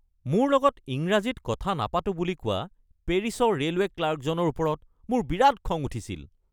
মোৰ লগত ইংৰাজীত কথা নাপাতোঁ বুলি কোৱা পেৰিছৰ ৰে'লৱে' ক্লাৰ্কজনৰ ওপৰত মোৰ বিৰাট খং উঠিছিল।